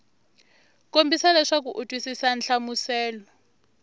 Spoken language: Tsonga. kombisa leswaku u twisisa nhlamuselo